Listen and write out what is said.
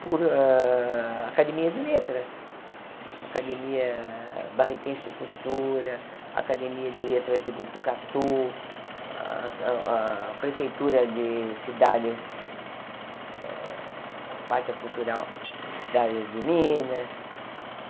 por ah Academia de Letras, Academia Barretense de Cultura, Academia de Letras de Butucatu, a a a Prefeitura de Cidades, eh a parte cultural de Cidades de Minas.